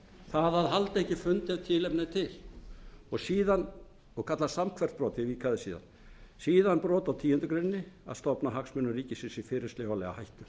halda ekki fund ef tilefni er til og kallast samhverft brot ég vík að því síðar síðan brot á tíundu grein að stofna hagsmunum ríkisins í fyrirsjáanlega hættu